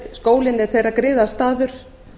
skólinn er þeirra griðastaður